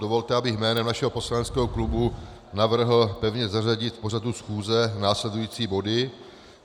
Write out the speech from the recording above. Dovolte, abych jménem našeho poslaneckého klubu navrhl pevně zařadit do pořadu schůze následující body.